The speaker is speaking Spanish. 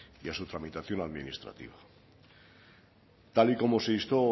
y a su tramitación administrativa tal y como se instó